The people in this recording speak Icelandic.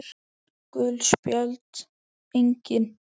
Gul spjöld: Engin.